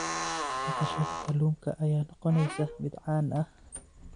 Dhaqashada kalluunka ayaa noqonaysa mid caan ah.